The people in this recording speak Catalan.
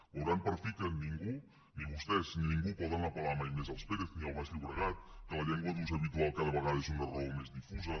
veuran per fi que ningú ni vostès ni ningú pot apelal baix llobregat que la llengua d’ús habitual cada vegada és una raó més difusa